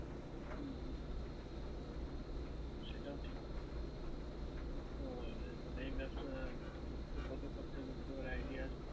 সেটাও ঠিক। তো এই ব্যবসা কত খরচা পড়তে পারে idea আছে?